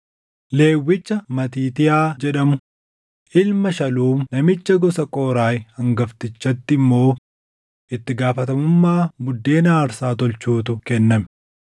Lewwicha Matiitiyaa jedhamu, ilma Shaluum namicha gosa Qooraahi hangaftichatti immoo itti gaafatamummaa buddeena aarsaa tolchuutu kenname.